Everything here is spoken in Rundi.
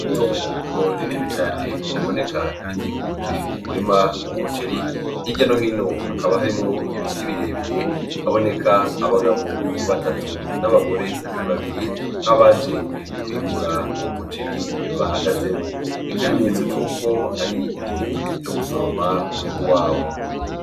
Itongo rinene cane riboneka rikikuje umurima w' umuceri h'irya no hino hakaba harimo ibiti birebire haboneka abagabo batatu n'abagore babiri nk'abaje kwimbura uwo muceri bahagazemo ikimenyetso c'uko ari igihe co gusoroma umwembu wabo.